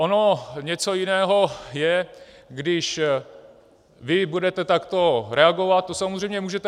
Ono něco jiného je, když vy budete takto reagovat, to samozřejmě můžete.